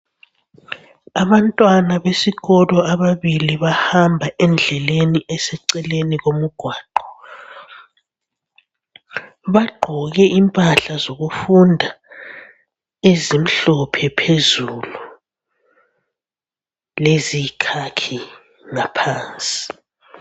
Abantwana besikolo ababili bahamba endleleni eseceleni komgwaqo. Bagqoke impahla zokufunda ezimhlophe phezulu leziyikhakhi ngaphansi.